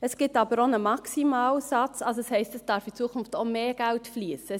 Es gibt aber auch einen Maximalsatz, was heisst, dass in Zukunft auch mehr Geld fliessen darf.